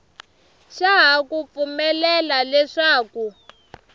xa ha ku pfumelela leswaku